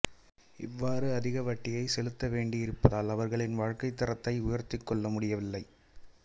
இவ்வாறு அதிக வட்டியை செலுத்த வேண்டியிருப்பதால் அவர்களின் வாழ்க்கைத் தரத்தை உயர்த்திக்கொள்ள முடிவதில்லை